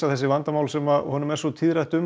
þessum vandamálum sem honum er svo tíðrætt um